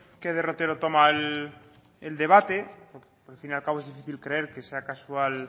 qué derrotero toma el debate porque al fin y al cabo es difícil creer que sea casual